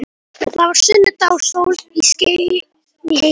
Það var sunnudagur og sól skein í heiði.